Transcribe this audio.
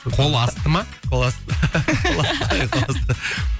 қол асты ма қол асты қол асты иә қол асты